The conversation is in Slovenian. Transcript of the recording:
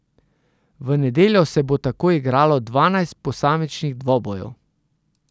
V nedeljo se bo tako igralo dvanajst posamičnih dvobojev.